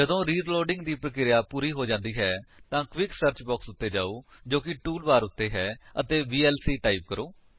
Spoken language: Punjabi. ਜਦੋਂ ਰੀਲੋਡਿੰਗ ਦੀ ਪਰਿਕ੍ਰੀਆ ਪੂਰੀ ਹੋ ਜਾਂਦੀ ਹੈ ਤਾਂ ਕਵੀਕ ਸਰਚ ਬਾਕਸ ਉੱਤੇ ਜਾਓ ਜੋ ਕਿ ਟੂਲ ਬਾਰ ਉੱਤੇ ਹੈ ਅਤੇ ਵੀਐਲਸੀ ਟਾਈਪ ਕਰੋ